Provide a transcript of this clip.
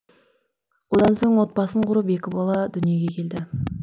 одан соң отбасын құрып екі бала дүиеге келеді